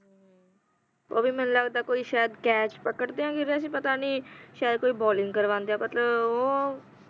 ਉਹ ਵੀ ਮੈਨੂੰ ਲੱਗਦਾ ਕੋਈ ਸ਼ਾਇਦ catch ਪਕੜਦੀਆਂ ਗਿਰੇ ਸੀ ਪਤਾ ਨਹੀਂ ਸ਼ਾਇਦ ਕੋਈ bowling ਕਰਵਾਉਂਦੀਆਂ ਮਤਲਬ ਉਹ